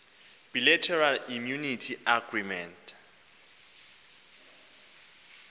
bilateral immunity agreement